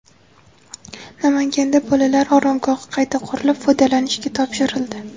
Namanganda bolalar oromgohi qayta qurilib, foydalanishga topshirildi.